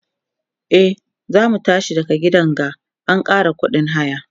e zamu tashi a gidan ga an Kara ƙuɗin haya